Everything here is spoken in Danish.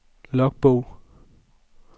logbog